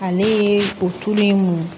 Ale ye o tulu mun